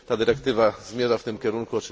Ta dyrektywa zmierza w tym kierunku.